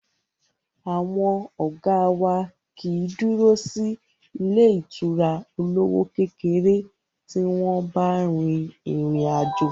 Àwọn ọ̀gá wá kìí dúró sí ilé ìtura olówó kékeré tí wọ́n bá rin ìrìn àjò.